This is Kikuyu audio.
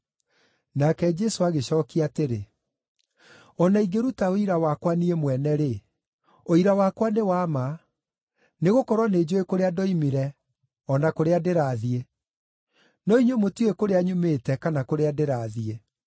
Nake Jesũ agĩcookia atĩrĩ, “O na ingĩruta ũira wakwa niĩ mwene-rĩ, ũira wakwa nĩ wa ma, nĩgũkorwo nĩnjũũĩ kũrĩa ndoimire o na kũrĩa ndĩrathiĩ. No inyuĩ mũtiũĩ kũrĩa nyumĩte kana kũrĩa ndĩrathiĩ.